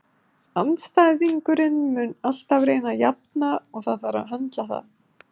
Andstæðingurinn mun alltaf reyna að jafna og það þarf að höndla það.